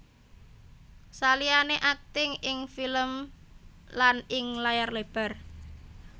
Saliyane akting ing film lan ing layar lebar